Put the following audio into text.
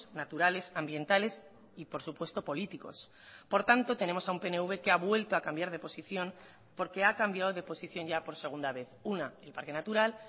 naturales ambientales y por supuesto políticos por tanto tenemos a un pnv que ha vuelto a cambiar de posición porque ha cambiado de posición ya por segunda vez una el parque natural